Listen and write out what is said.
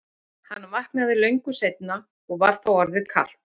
Hann vaknaði löngu seinna og var þá orðið kalt.